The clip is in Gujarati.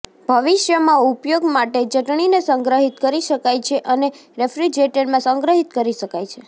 ભવિષ્યમાં ઉપયોગ માટે ચટણીને સંગ્રહિત કરી શકાય છે અને રેફ્રિજરેટરમાં સંગ્રહિત કરી શકાય છે